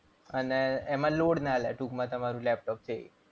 અને એમાં load ના લે ટૂંકમાં તમારું લેપટોપ છે એ.